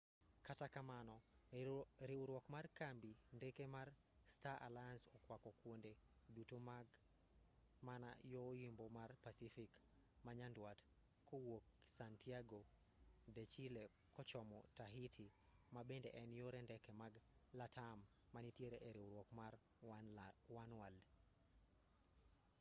kata kamano riwruok mar kambi ndeke mar star alliance okwako kwonde duto mak mana yo yimbo mar pacific ma nyandwat kowuok santiago de chile kochomo tahiti ma bende en yor ndeke mag latam manitie e riwruok mar oneworld